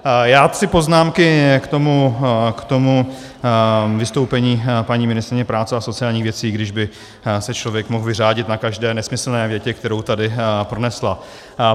Já tři poznámky k tomu vystoupení paní ministryně práce a sociálních věcí, když by se člověk mohl vyřádit na každé nesmyslné větě, kterou tady pronesla.